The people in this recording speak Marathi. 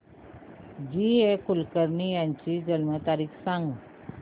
जी ए कुलकर्णी यांची जन्म तारीख सांग